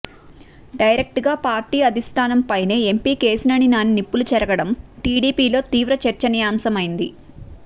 డైరెక్ట్గా పార్టీ అధిష్టానంపైనే ఎంపీ కేశినేని నాని నిప్పులు చెరగడం టీడీపీలో తీవ్ర చర్చనీయాంశమైంది